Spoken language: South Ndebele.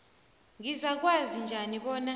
ngizakwazi njani bona